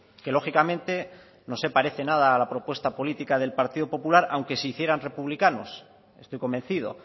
que lógicamente no se parece nada a la propuesta política del partido popular aunque se hicieran republicanos estoy convencido